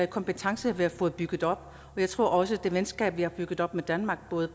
kompetence vi har fået bygget op og jeg tror også at det venskab vi har bygget op med danmark både